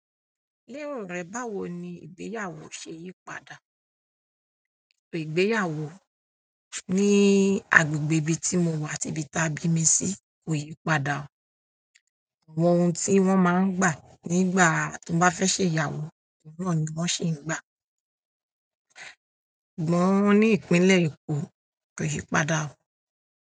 Lérò rẹ, báwo ni ìgbéyàwó ṣe yí padà? Ètò ìgbéyàwó ní agbègbè ibi tí mo wà àti ibi ta bími sí kò yí padà o. Àwọn ohun tí wón máa ń gbà nígbà tó bá fẹ́ ṣe ìyàwó oun náà ni wón ṣi ń gbà. Ṣùgbọ́n ní Ìpínlẹ̀ Èkó kò yi padà o.